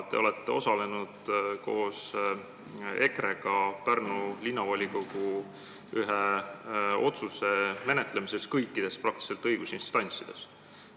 Te olete koos EKRE-ga osalenud Pärnu Linnavolikogu ühe otsuse enam-vähem kõikides õigusinstantsides toimunud menetlemises.